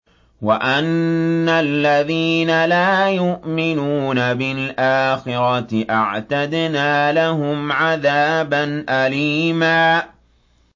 وَأَنَّ الَّذِينَ لَا يُؤْمِنُونَ بِالْآخِرَةِ أَعْتَدْنَا لَهُمْ عَذَابًا أَلِيمًا